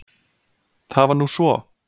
Það var nú svo!